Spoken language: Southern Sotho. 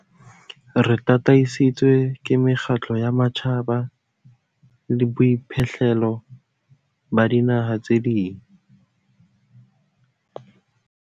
Re tataisitswe ke mekgatlo ya matjhaba le boiphihlelo ba dinaha tse ding.